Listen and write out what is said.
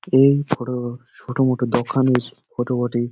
এই বড়ো বড়ো ছোট মোট দোকানের ফটো বটে।